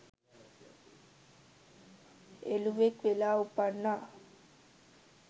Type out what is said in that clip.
එළුවෙක් වෙලා උපන්නා.